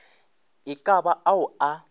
e ka ba ao a